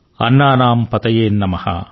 అన్నానామ్ పతయే నమః